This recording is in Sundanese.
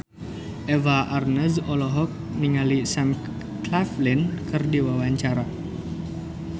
Eva Arnaz olohok ningali Sam Claflin keur diwawancara